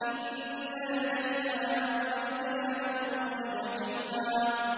إِنَّ لَدَيْنَا أَنكَالًا وَجَحِيمًا